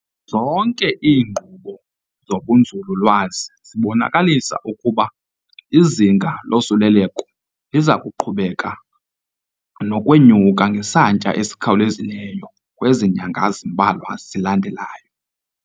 Zonke iinkqubo zobunzululwazi zibonakalisa ukuba izinga losuleleko liza kuqhubeka nokwenyuka ngesantya esikhawulezileyo kwezi nyanga zimbalwa zilandelayo.